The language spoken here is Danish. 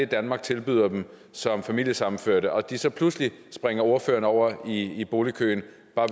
danmark tilbyder dem som familiesammenførte og de så pludselig springer ordføreren over i i boligkøen